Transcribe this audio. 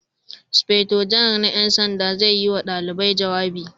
Sufeto Janar na 'yan sanda zai yi wa dalibai jawabi